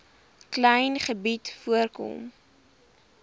klein gebied voorkom